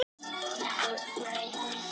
En það var af og frá.